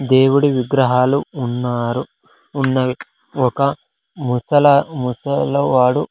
దేవుడి విగ్రహాలు ఉన్నారు ఉన్నవి ఒక ముసల ముసలవాడు.